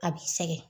A bi sɛgɛn